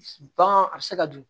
Ban a bɛ se ka dun